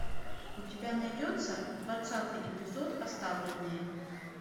у тебя найдется двадцатый эпизод оставленные